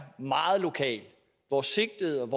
meget lokale hvor sigtede